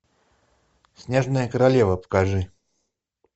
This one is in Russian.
снежная королева покажи